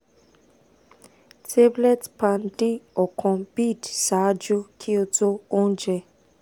tablet pan d ọkan bid ṣaaju ki o to ounje